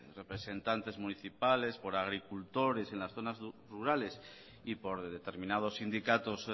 representantes municipales por agricultores en las zonas rurales y por determinados sindicatos